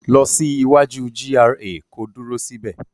Lọ sí iwaju GRA ko dúró sí bẹ̀.